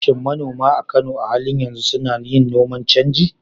Shin manoma a Kano a halin yanzu suna yin noman canji?